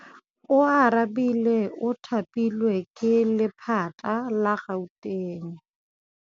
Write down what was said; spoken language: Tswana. Oarabile o thapilwe ke lephata la Gauteng.